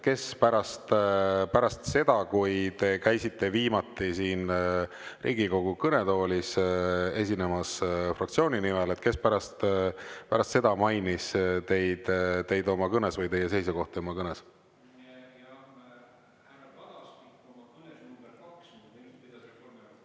Kes pärast seda, kui te käisite viimati siin Riigikogu kõnetoolis esinemas fraktsiooni nimel, kes pärast seda mainis teid oma kõnes või teie seisukohta oma kõnes?